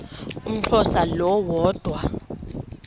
umxhosa lo woda